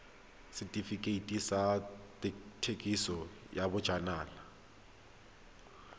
setefikeiti sa thekisontle ya bojalwa